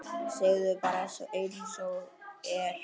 Segðu bara einsog er.